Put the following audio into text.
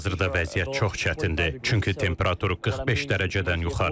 Hazırda vəziyyət çox çətindir, çünki temperatur 45 dərəcədən yuxarıdır.